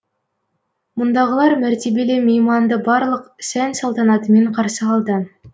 мұндағылар мәртебелі мейманды барлық сән салтанатымен қарсы алды